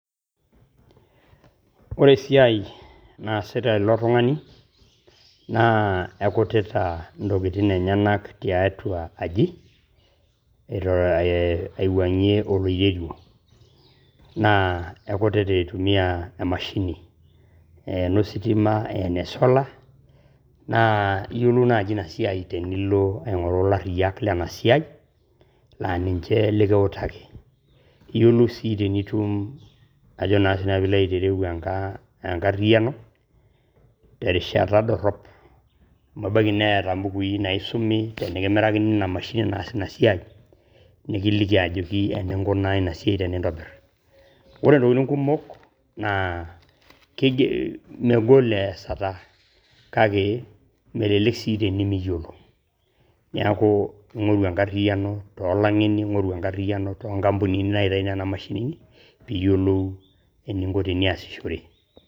Ore esiai naasita ilo tung`ani naa ekutita ntokitin enyenak tiatua aji aiwuang`ie oloiterio. Naa ekutita aitumia e mashini eno sitima, ashu solar. Naa iyiolou naaji ina siai tenilo aing`oru ilariyiak lena siai laa ninche likiutaki. Iyiolou sii tenitum ajo tenitum ajo naa siinanu pee ilo ayiolou enkariyiano terishata dorrop, amu ebaiki neeta mbukui naisumi tenikimirakini ina mashini naas ina siai nikiliki ajoki eninkunaki ina siai tenintobirr. Ore ntokitin kumok naa kiger , megol easata. Kake melelek sii tenimiyiolo, niaku ing`oru enkariano too lang`eni, ning`oru enkariayano too nkampunini naitayu nena mashinini pee ieyiolou eninko teniasishore.